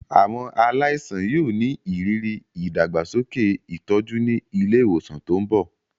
Àwọn aláìsàn yóò ní ìrírí ìdàgbàsókè ìtọ́jú ní ilé ìwòsàn tó ń bọ̀.